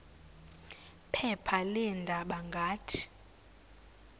phepha leendaba ngathi